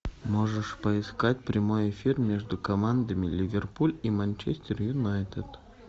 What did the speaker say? можешь поискать прямой эфир между командами ливерпуль и манчестер юнайтед